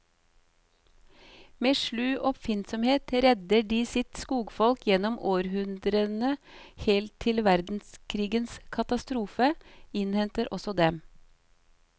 Med slu oppfinnsomhet redder de sitt skogsfolk gjennom århundrene, helt til verdenskrigens katastrofe innhenter også dem.